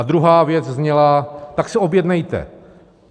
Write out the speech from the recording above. A druhá věc zněla: Tak se objednejte.